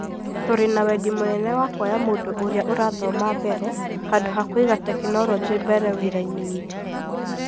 Tũrĩ na wendi mũnene wa kuoya mũndũ ũrĩa ũrathoma mbere, handũ ha kũiga tekinoronjĩ mbere, wĩra-inĩ witũ.